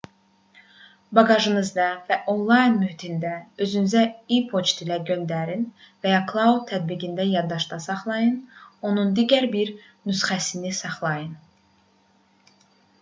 baqajınızda və onlayn mühitdə özünüzə e-poçt ilə göndərin və ya cloud tətbiqində yaddaşda saxlayın onun digər bir nüsxəsini saxlayın